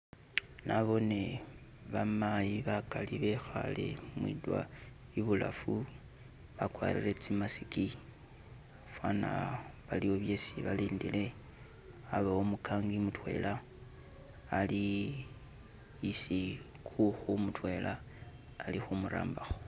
Nabone bamayi bakali bekhale mwidwalilo ibulafu bakwarire tsi mask fwana baliwo byesi balindile, abawo umukangi mutwela, ali isi kukhu mutwela, ali khu murambakho.